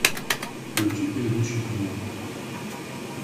включи предыдущий канал